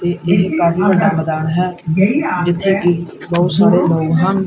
ਇਹ ਇੱਕ ਕਰਨਲ ਦਾ ਮੈਦਾਨ ਹੈ ਜਿੱਥੇ ਕੀ ਬਹੁਤ ਸਾਰੇ ਲੋਗ ਹਨ।